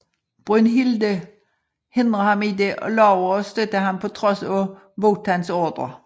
Brünnhilde hindrer ham i det og lover at støtte ham på trods af Wotans ordrer